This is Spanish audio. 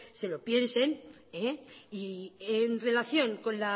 se lo piensen en relación con